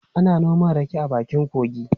Ana noma rake a bakin kogi.